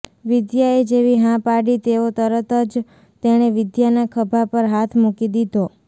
વિદ્યાએ જેવી હા પાડી તેવો તરત જ તેણે વિદ્યાના ખભા પર હાથ મૂકી દીધો